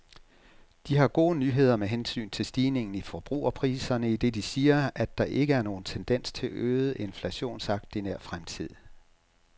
De har gode nyheder med hensyn til stigningen i forbrugerpriserne, idet de siger, at der ikke er nogen tendens til øget inflationstakt i nær fremtid.